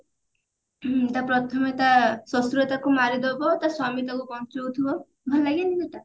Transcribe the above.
ତା ପ୍ରଥମେ ତା ଶଶୁର ତାକୁ ମାରିଦବ ତା ସ୍ଵାମୀ ତାକୁ ବଞ୍ଚଉଥିବ ଭଲ ଲାଗେନି ସେଇଟା